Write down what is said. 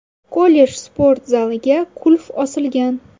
Kollej sport zaliga qulf osilgan.